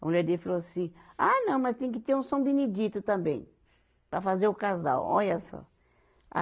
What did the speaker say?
A mulher dele falou assim, ah não, mas tem que ter um São Benedito também, para fazer o casal, olha só.